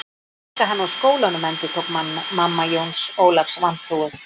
Reka hann úr skólanum endurtók mamma Jóns Ólafs vantrúuð.